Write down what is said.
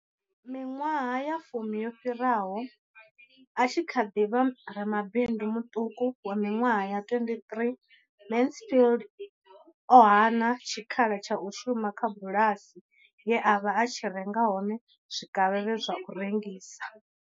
Miṅwaha ya fumi yo fhiraho, a tshi kha ḓi vha ramabindu muṱuku wa miṅwaha ya 23, Mansfield o hana tshikhala tsha u shuma kha bulasi ye a vha a tshi renga hone zwikavhavhe zwa u rengisa.